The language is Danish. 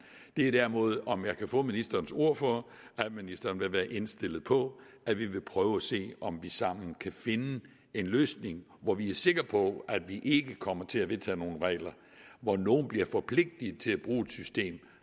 det er derimod om jeg kan få ministerens ord på at ministeren vil være indstillet på at vi vil prøve at se om vi sammen kan finde en løsning hvor vi er sikre på at vi ikke kommer til at vedtage nogle regler hvor nogle bliver forpligtet til at bruge et system